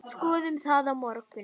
Skoðum það á morgun.